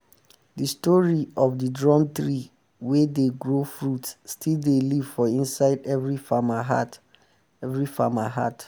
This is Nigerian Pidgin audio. the story of the drum tree wey dey grow fruit still dey live for inside every farmer heart every farmer heart